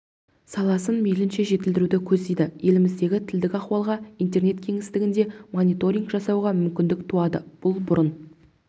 саласын мейлінше жетілдіруді көздейді еліміздегі тілдік ахуалға интернет кеңістігінде мониторинг жасауға мүмкіндік туады бұл бұрын